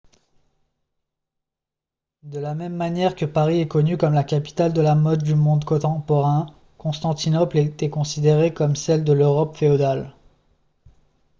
de la même manière que paris est connue comme la capitale de la mode du monde contemporain constantinople était considérée comme celle de l'europe féodale